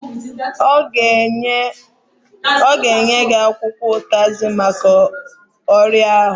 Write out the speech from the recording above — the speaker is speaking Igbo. Ọ ga-enye gị akwụkwọ ụtazị maka ọrịa ahụ?